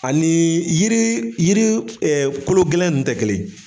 Anii yiri yiri kologɛlɛn nn tɛ kelen.